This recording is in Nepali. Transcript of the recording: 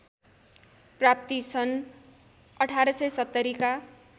प्राप्ति सन् १८७० का